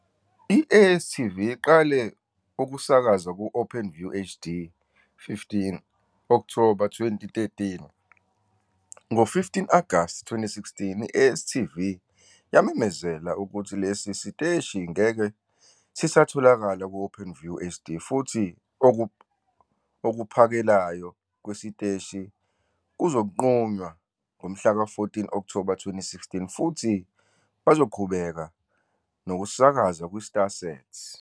I-ASTV iqale ukusakaza ku- OpenViewHD15 Okthoba 2013. Ngo-15 Agasti 2016 i-ASTV yamemezela ukuthi lesi siteshi ngeke sisatholakala ku- OpenViewHD futhi okuphakelayo kwesiteshi kuzonqunywa ngomhlaka 14 Okthoba 2016 futhi basazoqhubeka nokusakaza kwiStarSat.